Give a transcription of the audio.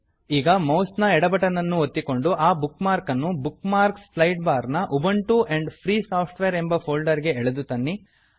ಈಗ ಮೌಸ್ ನ ಎಡ ಬಟನ್ ಅನ್ನು ಒತ್ತಿಕೊಂಡು ಆ ಬುಕ್ ಮಾರ್ಕನ್ನು ಬುಕ್ ಮಾರ್ಕ್ಸ್ ಸ್ಲೈಡ್ ಬಾರ್ ನ ಉಬುಂಟು ಆಂಡ್ ಫ್ರೀ ಸಾಫ್ಟ್ವೇರ್ ಎಂಬ ಫೋಲ್ಡರ್ ಗೆ ಎಳೆದು ತನ್ನಿ